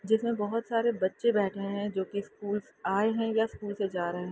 जिसमे बहुत सरे बच्चे बैठे है जोकि स्कूल से आए है या स्कूल से जा रहे--